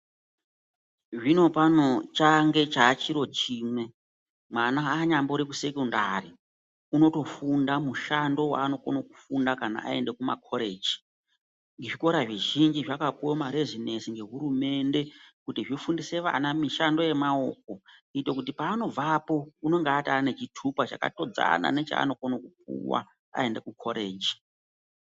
Zvinopano change chachiro chimwe mwana anyambori kusekondari unotofunda mushando vanokona kufunda kana aenda kumakoreji. Zvikora zvizhinji zvakapuva marezinesi nehurumende kuti zvifundise vana mishando yemaoko. Kuite kuti paanobvapo anonga atone chitupa chakatodzana nechanokona kupuva aende kukoreji.